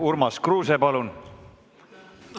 Urmas Kruuse, palun!